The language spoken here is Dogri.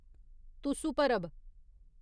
तुसु परब